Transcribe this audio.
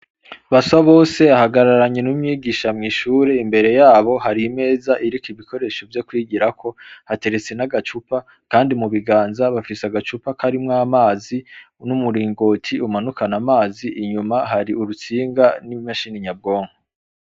Basabose ahagararanye n'umwigisha mw'ishuri, imbere yabo hari imeza iriko ibikoresho vyokwigirako, hateretse n'agacupa kandi mubiganza bafise agacupa karimw'amazi, n'umuringoti umanukana amazi, inyuma hari urutsinga n'imashini nyabwonko.